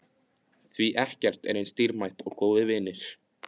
Því ekkert er eins dýrmætt og góðir vinir.